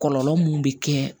Kɔlɔlɔ mun bɛ kɛ